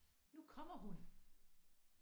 Nu kommer hun